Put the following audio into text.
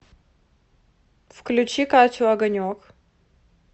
включи катю огонек